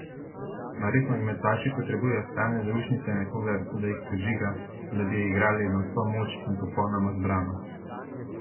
Mar res nogometaši potrebujejo stalne zaušnice in nekoga, da jih podžiga, da bi igrali na vso moč in popolnoma zbrano?